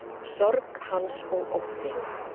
Sorg hans og ótti.